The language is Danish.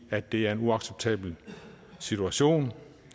at det er en uacceptabel situation